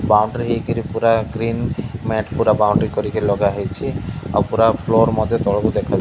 boundary ହେଇକିରି ପୁରା green mat ପୁରା ବାଉଣ୍ଡ୍ରି କରି ଲଗାହେଇଛି ଆଉ ପୁରା ଫ୍ଲୋର ମଧ୍ୟ ତଳକୁ ଦେଖା --